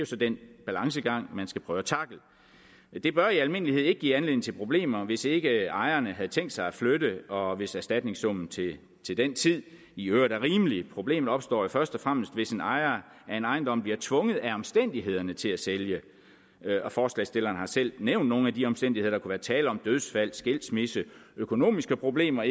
så den balancegang man skal prøve at tackle det bør i almindelighed ikke give anledning til problemer hvis ikke ejerne har tænkt sig at flytte og hvis erstatningssummen til den tid i øvrigt er rimelig problemet opstår jo først og fremmest hvis en ejer af en ejendom bliver tvunget af omstændighederne til at sælge forslagsstillerne har selv nævnt nogle af de omstændigheder der kunne være tale om dødsfald skilsmisse økonomiske problemer